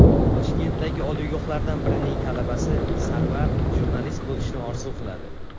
Toshkentdagi oliygohlardan birining talabasi Sarvar jurnalist bo‘lishni orzu qiladi.